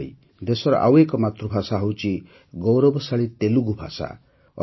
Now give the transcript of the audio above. ସେହିଭଳି ଦେଶର ଆଉ ଏକ ମାତୃଭାଷା ହେଉଛି ଗୌରବଶାଳୀ ତେଲୁଗୁ ଭାଷା